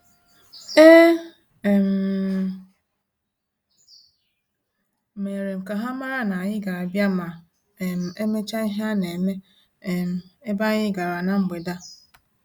E um merem ka ha mara na-anyị ga abia ma um emecha ihe a-na eme um ebe anyị gara na mgbede a